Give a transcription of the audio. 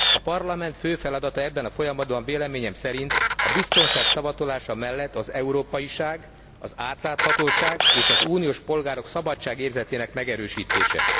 A parlament fő feladata ebben a folyamatban véleményem szerint a biztonság szavatolása mellett az európaiság, az átláthatóság és az uniós polgárok szabadságérzetének megerősítése.